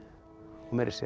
og meira að segja